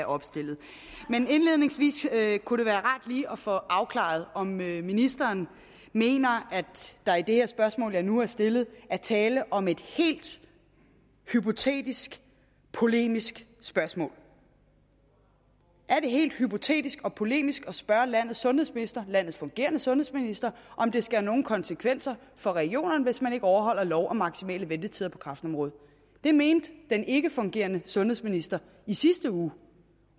opstillet men indledningsvis kunne det være rart lige at få afklaret om ministeren mener at der i det her spørgsmål jeg nu har stillet er tale om et helt hypotetisk polemisk spørgsmål er det helt hypotetisk og polemisk at spørge landets sundhedsminister landets fungerende sundhedsminister om det skal have nogen konsekvenser for regionerne hvis man ikke overholder lov om maksimale ventetider på kræftområdet det mente den ikkefungerende sundhedsminister i sidste uge